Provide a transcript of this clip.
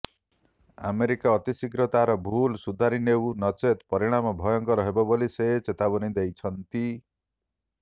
America ଅତିଶୀଘ୍ର ତାହାର ଭୁଲ ସୁଧାରି ନେଉ ନଚେତ୍ ପରିମାଣ ଭୟଙ୍କର ହେବ ବୋଲି ସେ ଚେତାବନୀ ଦେଇଛନ୍ତି